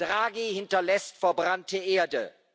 Draghi hinterlässt verbrannte Erde.